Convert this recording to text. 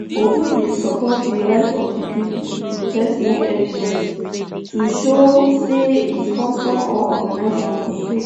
obi bin support di right of di pipo to protest no evidence to show say e sponsor or organise one protest